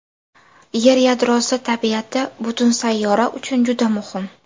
Yer yadrosi tabiati butun sayyora uchun juda muhim.